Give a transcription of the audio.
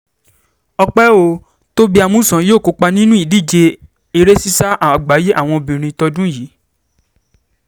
ọ̀pẹ́ ò tóbi amusan yóò kópa nínú ìdíje eré sísá àgbáyé àwọn obìnrin tọdún yìí